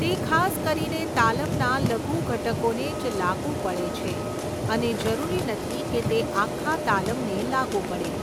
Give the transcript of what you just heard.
તે ખાસ કરીને તાલમના લઘુ ઘટકોને જ લાગુ પડે છે અને જરૂરી નથી કે તે આખા તાલમને લાગુ પડે.